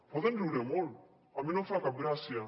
poden riure molt a mi no em fa cap gràcia